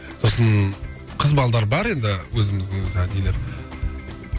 сосын қыз балалар бар енді өзіміздің осы